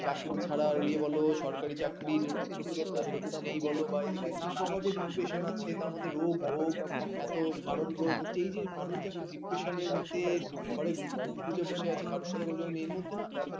ডাক্তারি ছাড়া এ বল সরকারি চাকরি সেরকম নেই বল না পাওয়া যে depression আছে তার মধ্যে রোগ ভোগ এত মারণ রোগ এই যে মানুষ এত depression মধ্যে ঘরে মুখ ঢুকে বসে আছে কারো সঙ্গে পর্যন্ত নেই এর মধ্যে না